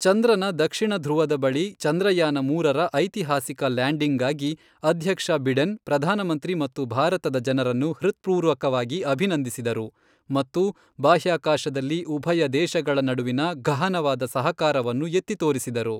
ಚಂದ್ರನ ದಕ್ಷಿಣ ಧ್ರುವದ ಬಳಿ ಚಂದ್ರಯಾನ ಮೂರರ ಐತಿಹಾಸಿಕ ಲ್ಯಾಂಡಿಂಗ್ಗಾಗಿ ಅಧ್ಯಕ್ಷ ಬಿಡೆನ್ ಪ್ರಧಾನಮಂತ್ರಿ ಮತ್ತು ಭಾರತದ ಜನರನ್ನು ಹೃತ್ಪೂರ್ವಕವಾಗಿ ಅಭಿನಂದಿಸಿದರು ಮತ್ತು ಬಾಹ್ಯಾಕಾಶದಲ್ಲಿ ಉಭಯ ದೇಶಗಳ ನಡುವಿನ ಘಹನವಾದ ಸಹಕಾರವನ್ನು ಎತ್ತಿ ತೋರಿಸಿದರು.